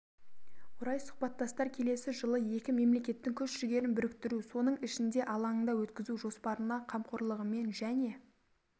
орай сұхбаттастар келесі жылы екі мемлекеттің күш-жігерін біріктіру соның ішінде алаңында өткізу жоспарына қамқорлығымен және